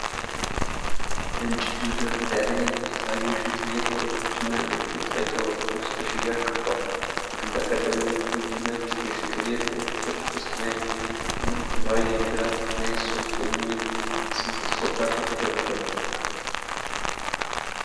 በእንጨት መደርደሪያ ላይ የተለያዩ የሽንት ቤት ወረቀቶችና የእጅ መጥረጊያ ወረቀቶች በሽያጭ ቀርበዋል። በግንባር ቀደምትነት ብዙ ነጭ የሽንት ቤት ወረቀቶች በሰማያዊ እና ሐምራዊ ፊደላት 'NICE Soft' የሚል ስም ተጽፎባቸው ተደርድረዋል።